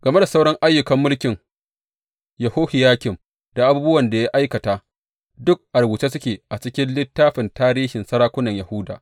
Game da sauran ayyukan mulkin Yehohiyakim da abubuwan da ya aikata, duk a rubuce suke a cikin littafin tarihin sarakunan Yahuda.